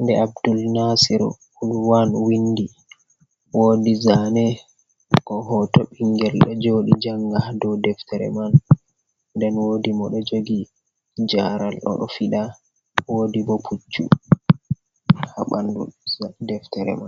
nde Abdul Nasiru Lurwan windi. woodi zane ko hoto ɓingel ɗo joɗi janga dou Deftere man. Nden woodi moɗo jogi jaaral oɗo fiɗa. Woodi bo Puccu ha ɓandu deftere man.